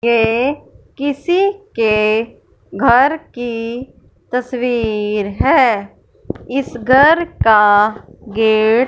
ये किसी के घर की तस्वीर है इस घर का गेट --